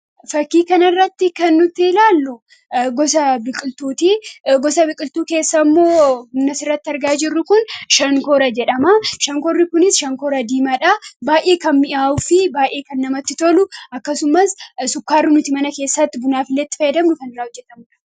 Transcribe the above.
Fakkii kana irratti kan nuti ilaalluu gosa biqiltuuti. Gosoota biqiltuu keessaa immoo Shankoora jedhama. Shankoorri kunis diimaa kan ta'ee fi baayyee kan mi'aawwuu fi namatti tolu akkasumas sukkaara nuti mana keessatti bunaaf itti fayyadmnullee irraa kan hojjetamuu dha.